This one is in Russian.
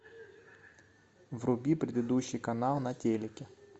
вруби предыдущий канал на телике